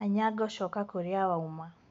Anyango coka kũrĩa wauma.